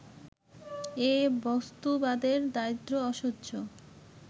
এ-বস্তুবাদের দারিদ্র অসহ্য